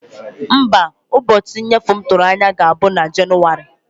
Mba, ụbọchị nnyefe m tụrụ anya ga-abụ na Jenụwarị.